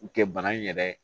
U kɛ bana in yɛrɛ